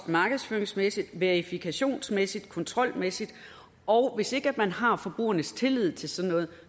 markedsføringsmæssigt verifikationsmæssigt og kontrolmæssigt og hvis ikke man har forbrugernes tillid til sådan noget